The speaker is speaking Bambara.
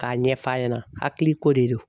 K'a ɲɛf'a ɲɛna hakili ko de don.